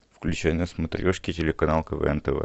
включай на смотрешке телеканал квн тв